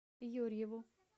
юрьеву